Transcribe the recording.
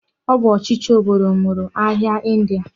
O bu ochichi obodo nwuru ahia ndia.